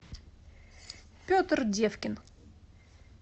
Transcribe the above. петр девкин